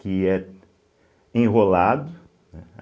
Que é enrolado, né?